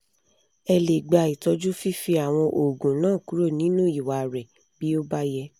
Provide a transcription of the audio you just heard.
ẹ lè gba itọju fífi àwọn oògùn náà kúrò nínú ìwà rẹ bí ó bá yẹ